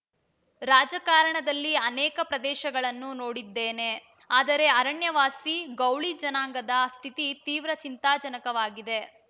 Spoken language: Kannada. ರಾಜಕಾರಣದಲ್ಲಿ ಅನೇಕ ಪ್ರದೇಶಗಳನ್ನು ನೋಡಿದ್ದೇನೆ ಆದರೆ ಅರಣ್ಯವಾಸಿ ಗೌಳಿ ಜನಾಂಗದ ಸ್ಥಿತಿ ತೀವ್ರ ಚಿಂತಾಜನಕವಾಗಿದೆ